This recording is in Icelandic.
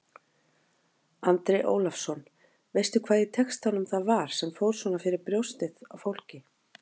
Andri Ólafsson: Veistu hvað í textanum það var sem fór svona fyrir brjóstið á fólki?